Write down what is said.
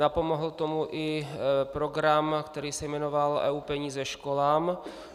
Napomohl tomu i program, který se jmenoval EU peníze školám.